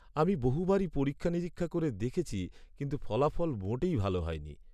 আমি বহুবারই পরীক্ষা নিরীক্ষা করে দেখেছি কিন্তু ফলাফল মোটেই ভাল হয়নি।